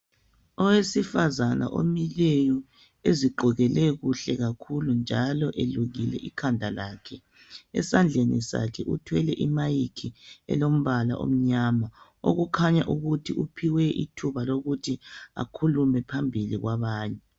Owesifazane omileyo ezigqokele kuhle kakhulu njalo elukile ikhanda lakhe. Esandleni sakhe uthwele i"mic" elombala omnyama okukhanya ukuthi uphiwe ithuba lokuthi akhulume phambili kwabanye.